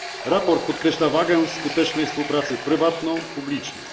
Raport podkreśla wagę skutecznej współpracy prywatno publicznej.